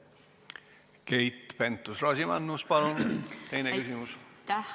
Keit Pentus-Rosimannus, palun teine küsimus!